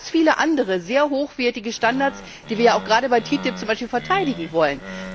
Wir haben ganz viele andere hochwertige Standards, die wir ja auch gerade bei TTIP verteidigen wollen.